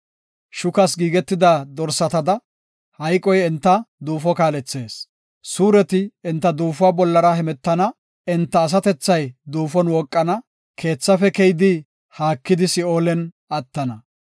Shukas giigetida dorsatada, hayqoy enta duufo kaalethees. Suureti enta duufuwa bollara hemetana; enta asatethay duufon wooqana; keethafe keyidi haakidi si7oolen attana.